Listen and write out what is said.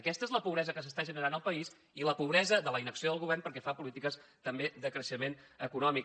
aquesta és la pobresa que s’està generant al país i la pobresa de la inacció del govern pel que fa a polítiques també de creixement econòmic